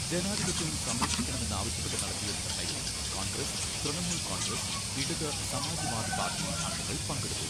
ജനാധിപത്യം സംരക്ഷിക്കണമെന്നാവശ്യപ്പെട്ട് നടത്തിയ ധർണ്ണയിൽ കോൺഗ്രസ്, തൃണമൂൽ കോൺഗ്രസ്, ഇടത്, സമാജ് വാദി പാർട്ടി അംഗങ്ങൾ പങ്കെടുത്തു.